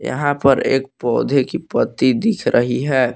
यहां पर एक पौधे की पत्ती दिख रही है।